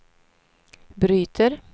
bryter